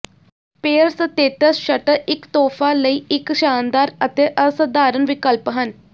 pair ਸਤੇਟਸ ਸ਼ਟਰ ਇੱਕ ਤੋਹਫ਼ਾ ਲਈ ਇੱਕ ਸ਼ਾਨਦਾਰ ਅਤੇ ਅਸਾਧਾਰਨ ਵਿਕਲਪ ਹਨ